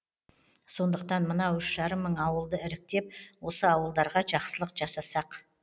сондықтан мынау үш жарым мың ауылды іріктеп осы ауылдарға жақсылық жасасақ